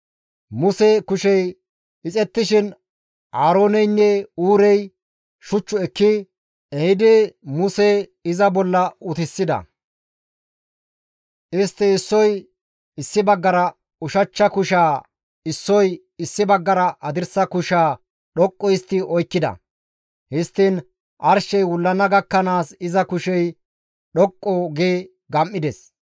Muse kushey ixettishin Aarooneynne Huurey shuch ekki ehidi Muse iza bolla utisida. Istti issoy issi baggara ushachcha kushaa issoy issi baggara hadirsa kushaa dhoqqu histti oykkida. Histtiin arshey wullana gakkanaas iza kushey dhoqqu gi gam7ides.